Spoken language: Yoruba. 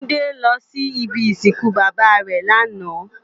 Jide lò si ibi isinkún baba rè làná